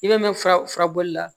I bɛ mɛn furabulu la